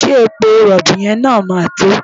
Ṣé epo rọ̀bì yẹn máa tó?